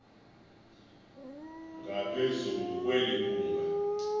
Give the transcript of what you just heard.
ngaphezulu kweli bhunga